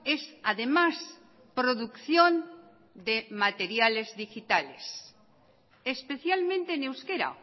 es además producción de materiales digitales especialmente en euskera